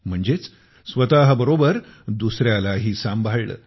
म्हणजेच स्वतःबरोबरच दुसऱ्यालाही सांभाळले